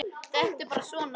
Þetta er bara svona.